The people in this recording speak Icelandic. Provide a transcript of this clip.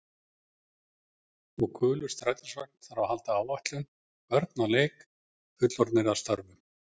Og gulur strætisvagn þarf að halda áætlun, börn að leik, fullorðnir að störfum.